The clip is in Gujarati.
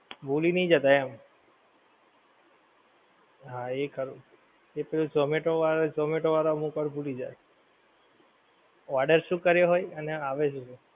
ભૂલી નહીં જતાં એમ હા એ ખરું એતો zomato વાળા zomato વાળા અમુક વાર ભૂલી જાય order શું કર્યો હોય અને આવે છે શું